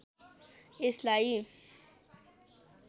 यसलाई